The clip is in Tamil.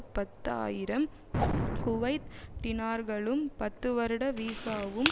பத்து ஆயிரம் குவைத் டினார்களும் பத்து வருட வீசாவும்